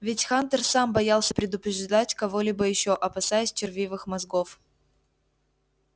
ведь хантер сам боялся предупреждать кого-либо ещё опасаясь червивых мозгов